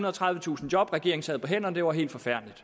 og tredivetusind job regeringen sad på hænderne det var helt forfærdeligt